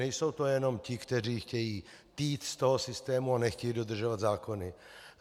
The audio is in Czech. Nejsou to jenom ti, kteří chtějí týt z toho systému a nechtějí dodržovat zákony.